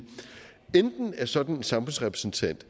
at sådan en samfundsrepræsentant